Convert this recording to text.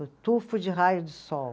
O tufo de raio de sol.